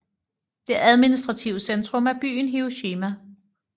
Det administrative centrum er byen Hiroshima